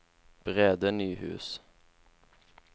Brede Nyhus